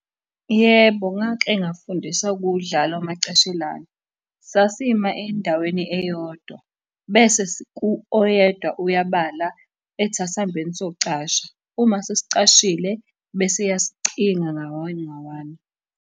Yebo, ngake ngafundisa ukuwudlala umacashelana. Sasima endaweni eyodwa, bese oyedwa uyabala, ethi asambeni siyocasha. Uma sesicashile, bese eyasicinga nga-one nga-one.